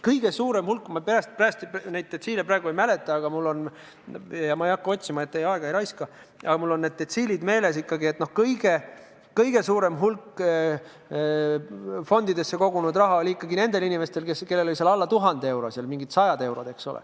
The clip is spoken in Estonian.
Kõige rohkem – ma peast neid detsiile praegu ei mäleta ja ma ei hakka ka otsima, et teie aega mitte raisata – fondidesse kogunenud raha on kokku nendel inimestel, kellel on seal alla 1000 euro, mingid sajad eurod.